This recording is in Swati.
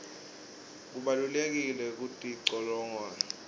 kubalulekile kutilolonga